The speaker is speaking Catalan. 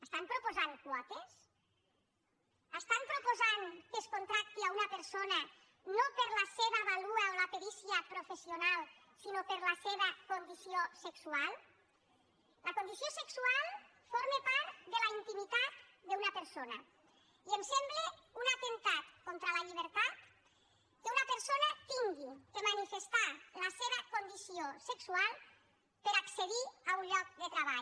estan proposant quotes estan proposant que es contracti una persona no per la seva vàlua o la perícia professional sinó per la seva condició sexual la condició sexual forma part de la intimitat d’una persona i em sembla un atemptat contra la llibertat que una persona hagi de manifestar la seva condició sexual per accedir a un lloc de treball